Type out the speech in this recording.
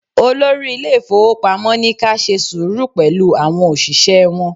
Olórí ilé ifowopamo ní ka ṣe sùúrù pẹ̀lú àwọn òṣìṣẹ́ wọn.